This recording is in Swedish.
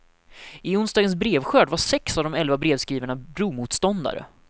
I onsdagens brevskörd var sex av de elva brevskrivarna bromoståndare.